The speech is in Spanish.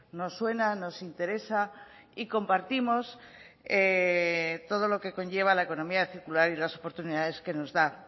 nos suena nos interesa y compartimos todo lo que conlleva la economía circular y las oportunidades que nos da